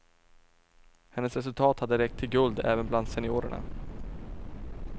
Hennes resultat hade räckt till guld även bland seniorerna.